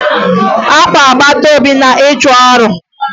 Akwa agbataobi na-echu ụra.